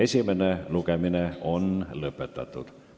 Esimene lugemine on lõpetatud.